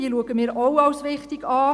Diese betrachten wir auch als wichtig.